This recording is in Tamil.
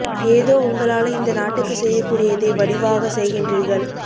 ஏதோ உங்களால இந்த நாட்டுக்கு செய்யக்கூடியதை வடிவாக செய்கின்றீர்கள்